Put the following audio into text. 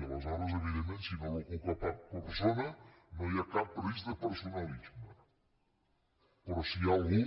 i aleshores evidentment si no l’ocupa cap persona no hi ha cap risc de personalisme però si hi ha algú